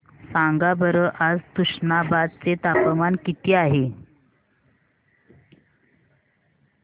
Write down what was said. सांगा बरं आज तुष्णाबाद चे तापमान किती आहे